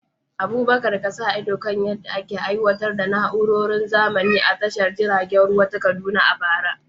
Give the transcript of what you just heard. Abubakar ya sa ido kan yadda ake aiwatar da na’urorin zamani a tashar jiragen ruwa ta Kaduna a bara.